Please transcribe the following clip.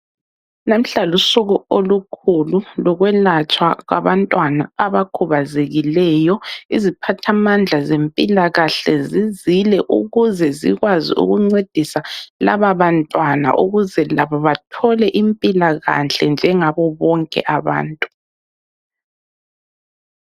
Namuhla lusuku olukhulu lokwelatshwa kwabantwana abakhubazekileyo. Iziphathamandla zempilakahle zizile ukuze zikwazi ukuncedisa laba bantwana ukuze labo bathole impilakahle njengabo bonke abantu.